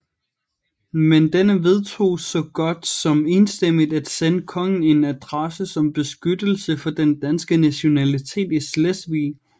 Men denne vedtog så godt som enstemmig at sende kongen en adresse om beskyttelse for den danske nationalitet i Slesvig